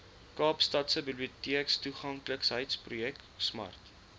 kaapstadse biblioteektoeganklikheidsprojek smart